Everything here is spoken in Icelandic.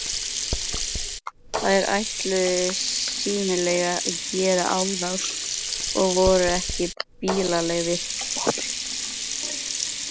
Þeir ætluðu sýnilega að gera árás og voru ekki blíðlegir.